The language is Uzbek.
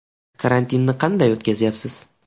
Karantinni qanday o‘tkazyapsiz?